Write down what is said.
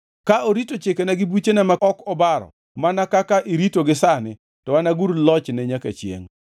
Ka orito chikena gi buchena ma ok obaro mana kaka iritogi sani, to anagur lochne nyaka chiengʼ.